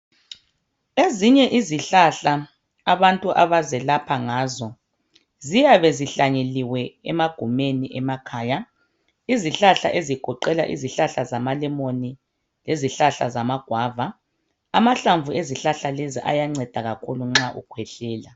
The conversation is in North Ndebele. Ezinye izihlahla abantu abazelapha ngazo ziyabe zihlanyeliwe emagumeni emakhaya izihlahla ezigoqela izihlahla zama lemon izihlahla zama guava amahlamvu ezihlahla lezi ayanceda kakhulu nxa ukhwehlela.